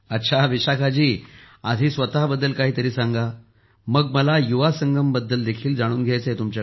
अच्छा विशाखा जी आधी स्वतःबद्दल काहीतरी सांगा मग मला युवा संगमबद्दल देखील जाणून घायचे आहे